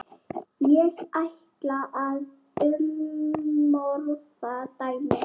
Ég ætla að umorða dæmið.